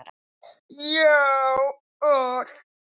Já, allt.